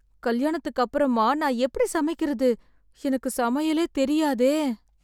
கல்யாணத்துக்கு அப்புறமா நான் எப்படி சமைக்கிறது? எனக்கு சமையலேத் தெரியாதே!